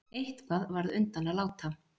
Eitthvað varð undan að láta